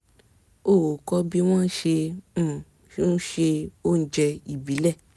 ó kọ́ bí wọ́n ṣe um ń se oúnjẹ ìbílẹ̀